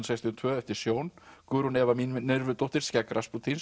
sextíu og tvö eftir Sjón Guðrún Eva Mínervudóttir skegg